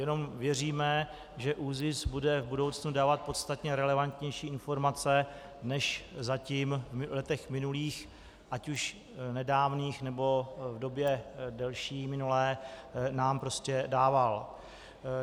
Jenom věříme, že ÚZIS bude v budoucnu dávat podstatně relevantnější informace než zatím v letech minulých, ať už nedávných, nebo v době delší minulé nám prostě dával.